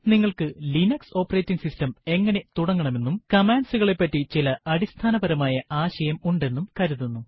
നിങ്ങൾക്ക് Linux operating system എങ്ങനെ തുടങ്ങണമെന്നും commands കളെപ്പറ്റി ചില അടിസ്ഥാനപരമായ ആശയം ഉണ്ടെന്നും കരുതുന്നു